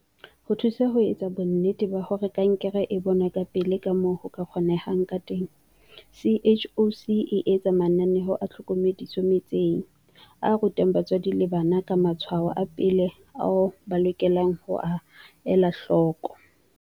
Ho thusa ho etsa bonnete ba hore kankere e bonwa ka pele kamoo ho ka kgonehang ka teng, CHOC e etsa mananeo a tlhokomediso metseng, a rutang batswadi le bana ka matshwao a pele ao ba lokelang ho a ela hloko.